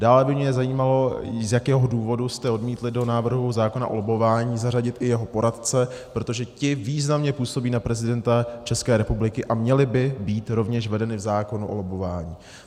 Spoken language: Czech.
Dále by mě zajímalo, z jakého důvodu jste odmítli do návrhu zákona o lobbování zařadit i jeho poradce, protože ti významně působí na prezidenta České republiky a měli by být rovněž vedeni v zákonu o lobbování.